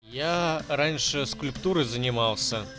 я раньше скульптуры занимался